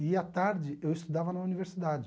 E, à tarde, eu estudava na universidade.